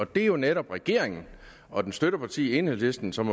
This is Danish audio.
det er jo netop regeringen og dens støtteparti enhedslisten som